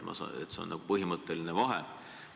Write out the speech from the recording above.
See on põhimõtteline vahe.